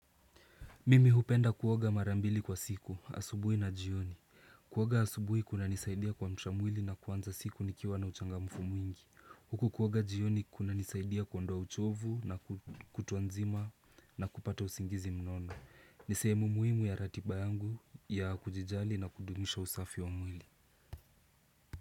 Mimi hupenda kuoga mara mbili kwa siku, asubuhi na jioni Kuoaga asubuhi kunanisaidia kumsha mwili na kuanza siku nikiwa na uchangamfu mwingi. Huku kuoaga jioni kunanisaidia kuondoa uchovu na kutwa nzima na kupata usingizi mnono ni sehemu muhimu ya ratiba yangu ya kujijali na kudumisha usafi wa mwili.